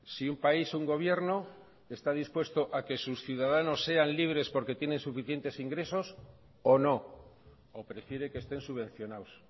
si un país un gobierno está dispuesto a que sus ciudadanos sean libres porque tienen suficientes ingresos o no o prefiere que estén subvencionados